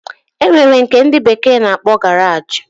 Enwere nke ndi bekee na-akpo garage